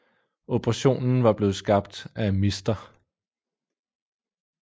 Operationen var blevet skabt af Mr